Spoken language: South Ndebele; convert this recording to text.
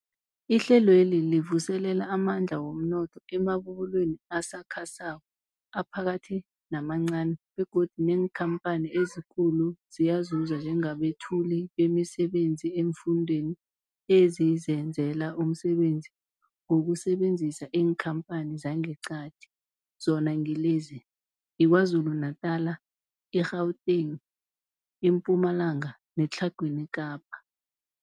Ihlelweli livuselela amandla womnotho emabubulweni asakhasako, aphakathi namancani begodu neenkhamphani ezikulu ziyazuza njengabethuli bemisebenzi eemfundeni ezizenzela umsebenzi ngokusebenzisa iinkhamphani zangeqadi, zona ngilezi, yiKwaZulu Natala, i-Gauteng, iMpumalanga neTlhagwini Kapa.